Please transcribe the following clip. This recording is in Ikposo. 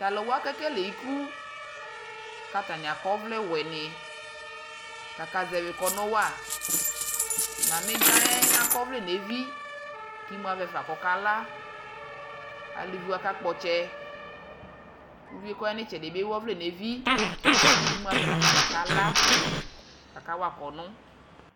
tʊ alʊwa, kekele ikʊ, kʊ atnɩ akɔ ɔvlɛ wɛnɩ, kʊ atanɩ kazɛvi ilevlesɛ wa ɔsivi yɛ akɔ ɔvlɛ nʊ evi kʊ imu avɛ fa kʊ ɔkala, aluviwa kakpɔ ɔtsɛ, uvi yɛ kʊ ɔya nʊ itsɛdɩ yɛ akɔ ɔvlɛ nʊ evi kʊ imu avɛ nafa kʊ akala, kʊ akawa ilevlesɛ